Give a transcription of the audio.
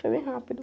Foi bem rápido.